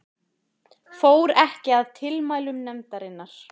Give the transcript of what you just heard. Fór ekki að tilmælum nefndarinnar